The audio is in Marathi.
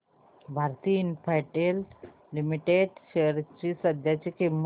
भारती इन्फ्राटेल लिमिटेड शेअर्स ची सध्याची किंमत